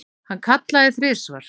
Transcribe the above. Hann kallaði þrisvar.